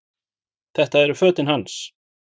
Þetta eru fötin hans!